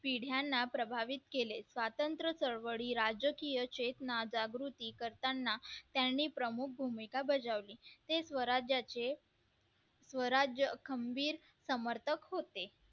पिढ्यांना प्रभावित केले स्वातंत्र्य चळवळी राजकीयचेतना जागृती करताना त्यांनी प्रमुख भूमिका बजावली ते स्वराज्याचे स्वराज्य खंबीर समर्थक होते